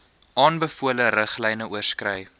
aanbevole riglyne oorskry